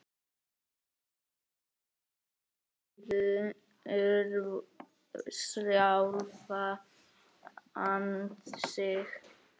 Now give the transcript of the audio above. Þaðan af síður sjálfan sig.